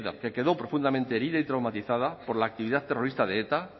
que quedó profundamente herida y traumatizada por la actividad terrorista de eta